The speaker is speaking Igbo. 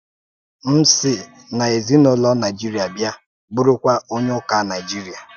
M sì n’ezinụlọ Naịjíríà bịá, bụrụ́kwa onye Ụ́ka Naịjíríà.